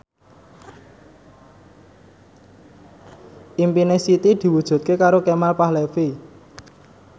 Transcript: impine Siti diwujudke karo Kemal Palevi